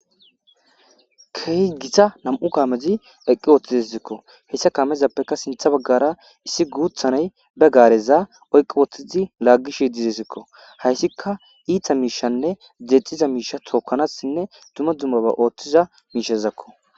Keehi Gita nam'u kaamez eqi utidesko, hesa kamezappeka sinthe bagara issi guutha nayi be gareza oyki utid lagishe desko, haysika iita mishanne dexiza misha tokanasinne dumma dummaba oothiza mishazako .